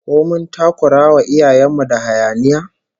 Ko mun takurawa iyayen mu da hayaniya?